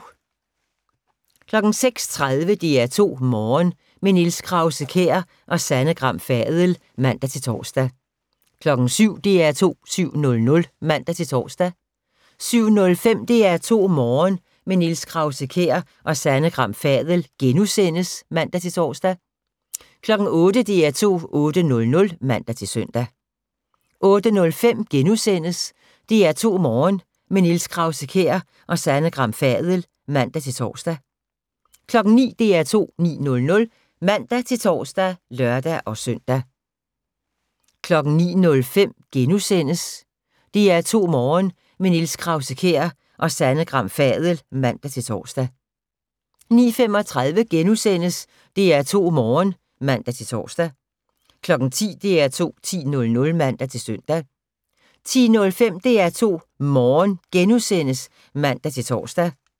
06:30: DR2 Morgen – med Niels Krause-Kjær og Sanne Gram Fadel (man-tor) 07:00: DR2 7:00 (man-tor) 07:05: DR2 Morgen – med Niels Krause-Kjær og Sanne Gram Fadel *(man-tor) 08:00: DR2 8:00 (man-søn) 08:05: DR2 Morgen – med Niels Krause-Kjær og Sanne Gram Fadel *(man-tor) 09:00: DR2 9:00 (man-tor og lør-søn) 09:05: DR2 Morgen – med Niels Krause-Kjær og Sanne Gram Fadel *(man-tor) 09:35: DR2 Morgen *(man-tor) 10:00: DR2 10.00 (man-søn) 10:05: DR2 Morgen *(man-tor)